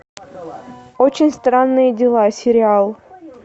очень странные дела сериал